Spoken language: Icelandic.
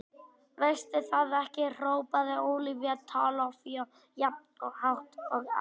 Veistu það ekki hrópaði Ólafía Tólafía jafn hátt og áður.